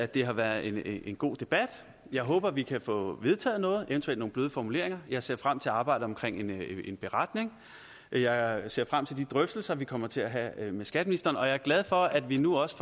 det har været en god debat jeg håber at vi kan få vedtaget noget eventuelt nogle bløde formuleringer jeg ser frem til arbejdet med en beretning og jeg ser frem til de drøftelser vi kommer til at have med skatteministeren og jeg er glad for at vi nu også